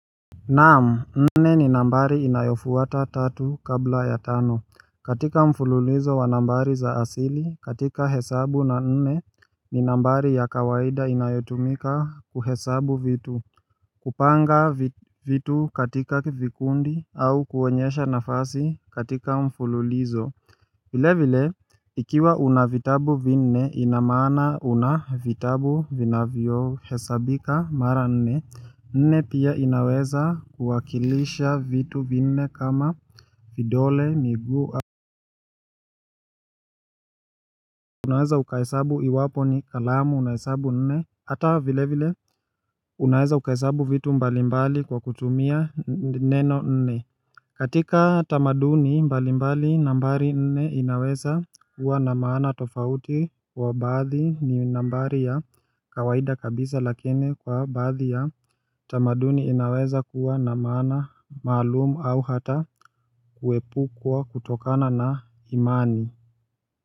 Naam, nne ni nambari inayofuata tatu kabla ya tano, katika mfululizo wa nambari za asili, katika hesabu na nne ni nambari ya kawaida inayotumika kuhesabu vitu, kupanga vitu katika vikundi au kuonyesha nafasi katika mfululizo vile vile ikiwa una vitabu vinne ina masna una vitabu vinavyohesabika mara nne Nne pia inaweza kuwakilisha vitu vinne kama vidole miguu Unaweza ukahesabu iwapo ni kalamu unahesabu nne Ata vile vile unaweza ukahesabu vitu mbalimbali kwa kutumia neno nne katika tamaduni mbali mbali nambari nne inaweza kuwa na maana tofauti wa baadhi ni nambari ya kawaida kabisa lakini kwa baadhi ya tamaduni inaweza kuwa na maana maalumu au hata kuepukwa kutokana na imani.